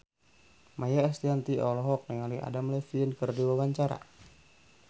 Maia Estianty olohok ningali Adam Levine keur diwawancara